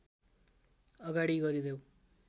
अगाडि गरिदेऊ